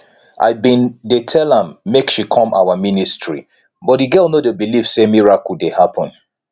i bin dey tell am make she come our ministry but the girl no dey believe say miracle dey happen